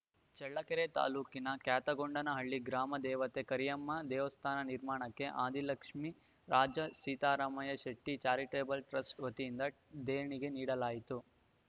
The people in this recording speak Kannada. ಚಳ್ಳಕೆರೆ ತಾಲೂಕಿನ ಕ್ಯಾತಗೊಂಡನಹಳ್ಳಿ ಗ್ರಾಮ ದೇವತೆ ಕರಿಯಮ್ಮ ದೇವಸ್ಥಾನ ನಿರ್ಮಾಣಕ್ಕೆ ಆದಿಲಕ್ಷ್ಮೀ ರಾಜ ಸೀತಾರಾಮಯ್ಯಶೆಟ್ಟಿಚಾರಿಟೇಬಲ್‌ ಟ್ರಸ್ಟ್‌ ವತಿಯಿಂದ ದೇಣಿಗೆ ನೀಡಲಾಯಿತು